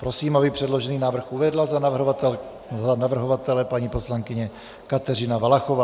Prosím, aby předložený návrh uvedla za navrhovatele paní poslankyně Kateřina Valachová.